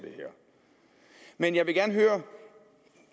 men jeg vil gerne høre